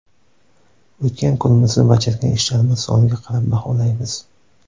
O‘tgan kunimizni bajargan ishlarimiz soniga qarab baholaymiz.